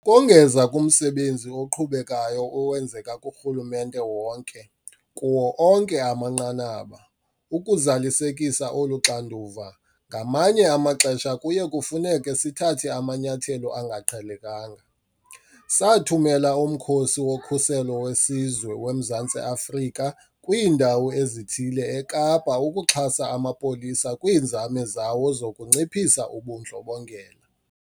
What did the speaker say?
Ukongeza kumsebenzi oqhubekayo owenzeka kurhulumente wonke, kuwo onke amanqanaba, ukuzalisekisa olu xanduva, ngamanye amaxesha kuye kufuneke sithathe amanyathelo angaqhelekanga. Sathumela uMkhosi woKhuselo weSizwe waseMzantsi Afrika kwiindawo ezithile eKapa ukuxhasa amapolisa kwiinzame zawo zokunciphisa ubundlobongela.